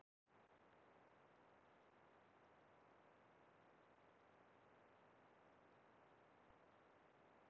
Á heimasíðu Landmælinga Íslands er að finna upplýsingar um stærð sveitarfélaga á Íslandi.